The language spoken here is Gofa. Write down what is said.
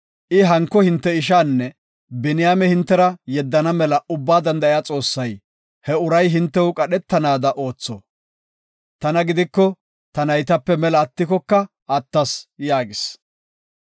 I hanko hinte ishaanne Biniyaame hintera yeddana mela Ubbaa Danda7iya Xoossay he uray hintew qadhetanada ootho. Tana gidiko, ta naytape mela attikoka attas” yaagis.